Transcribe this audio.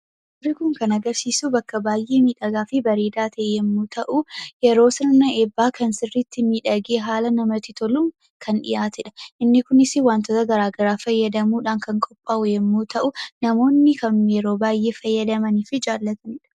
Suurri kun kan agarsiisu bakka baay'ee miidhagaa fi bareedaa ta'e yommuu ta'u, yeroo sirna eebbaa kan sirriitti miidhagee haala namatti toluun kan dhiyaate dha. Inni kunisii wantoota garaagaraa fayyadamuudhaan kan qophaa'u yommuu ta'u, namoonni kan yeroo baay'ee fayyadamanii fi jaallatanii dha.